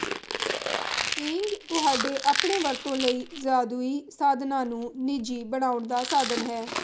keying ਤੁਹਾਡੇ ਆਪਣੇ ਵਰਤੋਂ ਲਈ ਜਾਦੂਈ ਸਾਧਨਾਂ ਨੂੰ ਨਿਜੀ ਬਣਾਉਣ ਦਾ ਸਾਧਨ ਹੈ